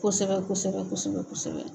Kosɛbɛ kosɛbɛ kosɛbɛ kosɛbɛ.